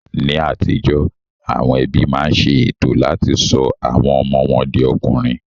Ní àtijó, àwọn ẹbí máa ń ṣe ètò láti sọ àwọn ọmọ wọn di ọkùnrin